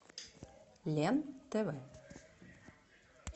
лен тв